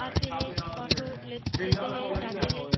आते हैं ऑटो ले लेते हैं जाते हैं।